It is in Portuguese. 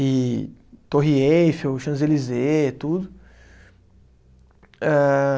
E Torre Eiffel, Champs-Élysées, tudo. Âhh